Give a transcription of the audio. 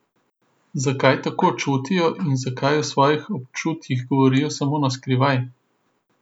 Zakaj tako čutijo in zakaj o svojih občutjih govorijo samo na skrivaj?